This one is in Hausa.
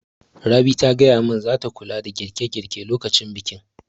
Rabi ta gaya mun zata kula da girƙe girƙe lokacin bikin